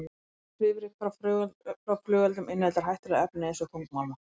Svifryk frá flugeldum inniheldur hættuleg efni eins og þungmálma.